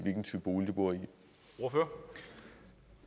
udelukkende